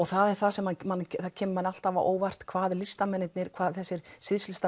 það er það sem manni kemur alltaf á óvart hvað hvað þessir